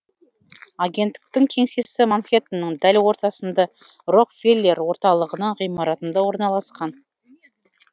агенттіктің кеңсесі манхэтонның дәл ортасында рокфеллер орталығының ғимаратында орналасқан